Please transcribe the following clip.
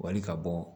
Wali ka bɔ